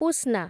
ପୁସ୍ନା